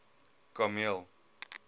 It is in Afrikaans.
kameel